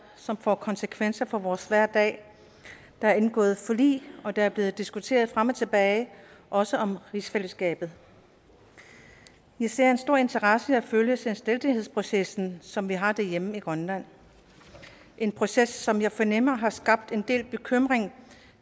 som får konsekvenser for vores hverdag der er indgået forlig og der er blevet diskuteret frem og tilbage også om rigsfællesskabet i ser en stor interesse i at følge selvstændighedsprocessen som vi har derhjemme i grønland en proces som jeg fornemmer har skabt en del bekymring